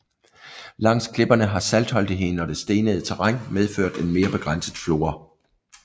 Langs klipperne har saltholdigheden og det stenede terræn medført en mere begrænset flora